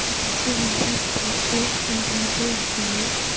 I can see one white bolero in the middle of the road.